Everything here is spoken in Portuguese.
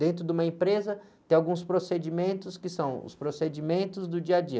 Dentro de uma empresa tem alguns procedimentos que são os procedimentos do dia a dia.